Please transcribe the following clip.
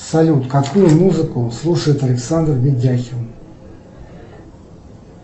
салют какую музыку слушает александр видяхин